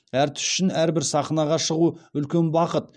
әртіс үшін әрбір сахнаға шығу үлкен бақыт